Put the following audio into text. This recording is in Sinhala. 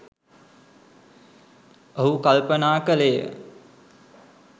ඔහු කල්පනා කළේ ය.